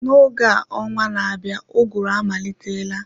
N'oge a ọnwa na-abịa uguru amalitela